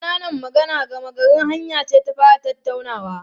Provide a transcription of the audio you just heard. Ƙananan magana gama garin hanya ce ta fara tattaunawa.